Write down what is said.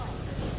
Dayan dayan!